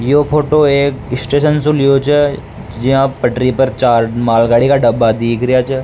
यो फोटो एक स्टेशन सो लियो छ यहां पटरी पर चार मालगाड़ी का डब्बा दीख रेहा छ।